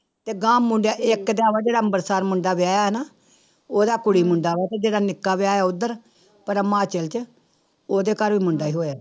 ਤੇ ਗਾਂਹ ਮੁੰਡਾ ਇੱਕ ਤਾਂ ਵਾ ਜਿਹੜਾ ਅੰਬਰਸਰ ਮੁੰਡਾ ਵਿਆਹਿਆ ਨਾ, ਉਹਦਾ ਕੁੜੀ ਮੁੰਡਾ ਵਾ ਤੇ ਜਿਹੜਾ ਨਿੱਕਾ ਵਿਆਹਿਆ ਉੱਧਰ ਪਰਾਂ ਹਿਮਾਚਲ ਚ ਉਹਦੇ ਘਰ ਵੀ ਮੁੰਡਾ ਹੋਇਆ।